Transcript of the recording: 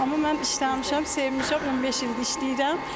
Amma mən işləmişəm, sevmişəm, 15 ildir işləyirəm.